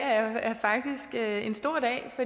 er en stor dag